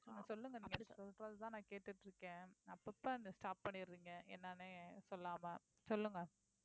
சொல்லுங்க நீங்க சொல்றதுதான் நான் கேட்டுட்டு இருக்கேன் அப்பப்ப அதை stop பண்ணிடுறீங்க என்னன்னு சொல்லாம சொல்லுங்க